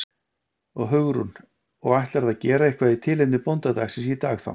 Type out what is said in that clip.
Hugrún: Og ætlarðu að gera eitthvað í tilefni bóndadagsins í dag þá?